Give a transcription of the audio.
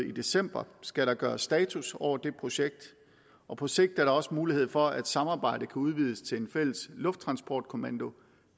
i december skal der gøres status over det projekt og på sigt er der også mulighed for at samarbejdet kan udvides til en fælles lufttransportkommando